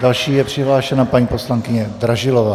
Další je přihlášena paní poslankyně Dražilová.